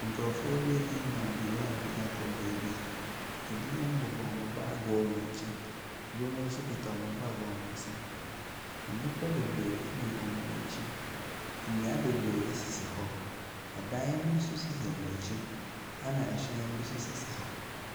Binom ɛnenamnwura mu ɛrekɔ beebi, ɛbinom bobɔ wɔn baage wɔ wɔn akyi na ɛbinom nso akuta wɔn baage wɔ hɔn nsam. Nnipa bebree agu wɔn akyi. Nnua bebree asisi hɔ.